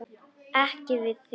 Ekki við þig.